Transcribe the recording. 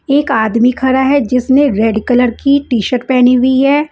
एक आदमी खड़ा है जिसने रेड कलर की टी-शर्ट पहनी हुई है।